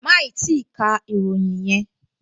Máì tíì ka ìròyìn yẹn!